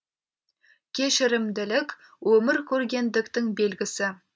кешірімділік өмір көргендіктің белгісі